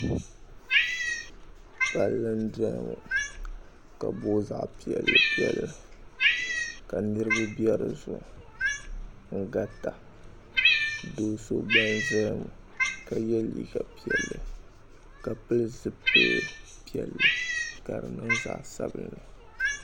Palli n-doya ŋɔ ka booi zaɣ' piɛllipiɛlli ka niriba be di zuɣu n-garita do' so gba n-zaya ŋɔ ka ye liiga piɛlli ka pili zuɣupil' piɛlli ka di niŋ zaɣ' sabinli